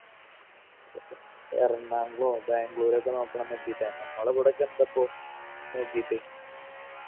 എറണാകുളോ ബാംഗ്ലൂരോക്കെ നോക്കണം കരുതീട്ടാ നമ്മളിവിടെ ഒക്കെ എന്തപ്പൊ നോക്കിയിട്ട്